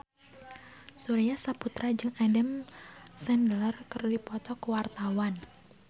Surya Saputra jeung Adam Sandler keur dipoto ku wartawan